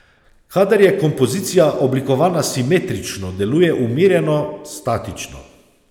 Kadar je kompozicija oblikovana simetrično, deluje umirjeno, statično.